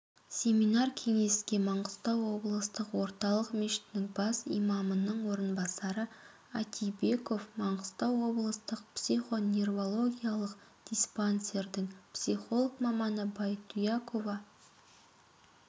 семинар-кеңеске маңғыстау облыстық орталық мешітінің бас имамының орынбасары атибеков маңғыстау облыстық психо-неврологиялық диспансердің психолог маманы байтуякова